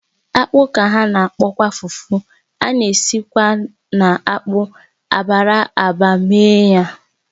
Akpu ka a na-akpọkwa fufu, a na-esikwa na akpụ abara ábà mee ya